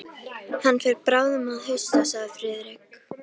Hann fer bráðum að hausta sagði Friðrik.